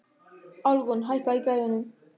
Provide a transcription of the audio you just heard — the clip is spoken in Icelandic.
Alrún, hækkaðu í græjunum.